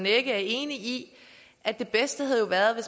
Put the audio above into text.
er enig i at det bedste havde været